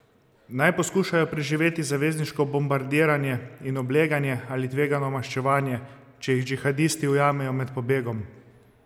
Naj poskušajo preživeti zavezniško bombardiranje in obleganje ali tvegajo maščevanje, če jih džihadisti ujamejo med pobegom?